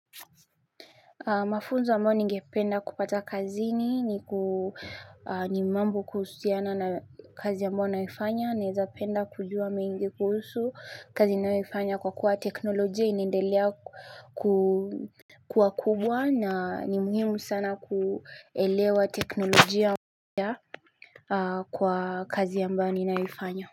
Mafunzo ambayo ningependa kupata kazi ni ni mambo kuhusiana na kazi ya mbayo naifanya, naweza penda kujua mengi kuhusu, kazi ninayoifanya kwa kuwa teknolojia inendelea ku kuwa kubwa, na ni muhimu sana kuelewa teknolojia kwa kazi ambayo ninaifanya.